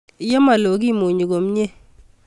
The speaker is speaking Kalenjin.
Ye malo ke munyi komye